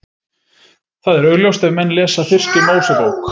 Það er augljóst ef menn lesa fyrstu Mósebók.